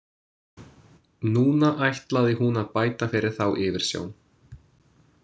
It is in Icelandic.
Núna ætlaði hún að bæta fyrir þá yfirsjón.